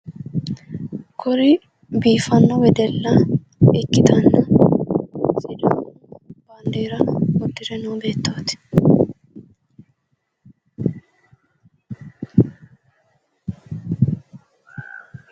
Kuri biifanno wedella ikkitanna baandeera uddire noo beettooti.